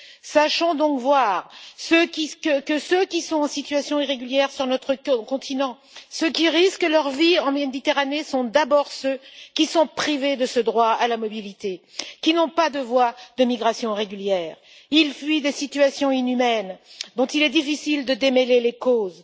Prenons donc conscience que ceux qui sont en situation irrégulière sur notre continent, ceux qui risquent leur vie en mer Méditerranée, sont d'abord ceux qui sont privés de ce droit à la mobilité, n'ont pas de voie de migration régulière et fuient des situations inhumaines dont il est difficile de démêler les causes.